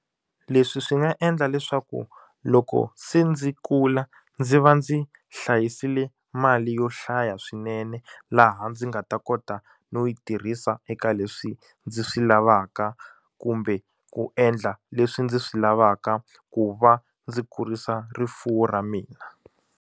Leswi swi nga endla leswaku loko se ndzi kula ndzi va ndzi hlayisile mali yo hlaya swinene laha ndzi nga ta kota no yi tirhisa eka leswi ndzi swi lavaka kumbe ku endla leswi ndzi swi lavaka ku va ndzi kurisa rifuwo ra mina.